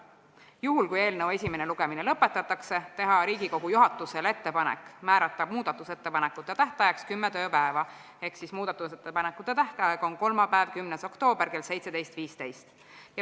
Juhul kui eelnõu esimene lugemine lõpetatakse, teeme Riigikogu juhatusele ettepaneku määrata muudatusettepanekute esitamise tähtajaks kümme tööpäeva ehk muudatusettepanekute tähtaeg on kolmapäev, 10. oktoober kell 17.15.